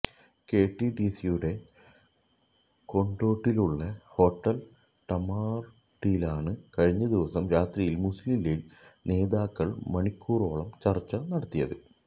കെടിഡിസിയുടെ കൊണ്ടോട്ടിയിലുള്ള ഹോട്ടല് ടാമറിന്ഡിലാണ് കഴിഞ്ഞ ദിവസം രാത്രിയില് മുസ്ലീം ലീഗ് നേതാക്കള് മണിക്കൂറോളം ചര്ച്ച നടത്തിയത്